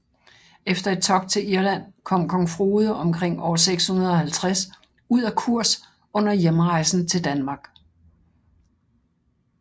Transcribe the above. Efter et togt til Irland kom kong Frode omkring år 650 ud af kurs under hjemrejsen til Danmark